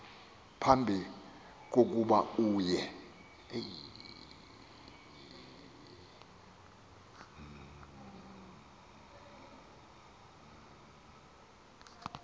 phambi kokuba uye